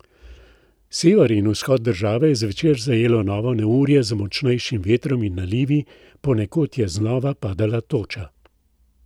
Sever in vzhod države je zvečer zajelo novo neurje z močnejšim vetrom in nalivi, ponekod je znova padala toča.